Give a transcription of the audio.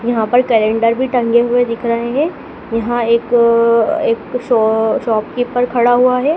यहाँ पर कलेंडर भी टंगे हुए दिख रहे हैं यहाँ एक अ एक शा शॉप कीपर खड़ा हुआ है।